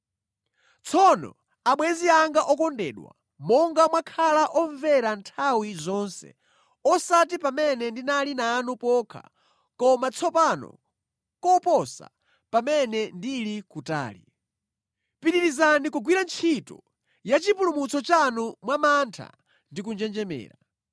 Tsono, abwenzi anga okondedwa, monga mwakhala omvera nthawi zonse, osati pamene ndinali nanu pokha, koma tsopano koposa pamene ndili kutali. Pitirizani kugwira ntchito ya chipulumutso chanu mwa mantha ndi kunjenjemera,